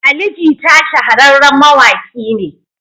Ali Jita shahararren mawaƙi ne.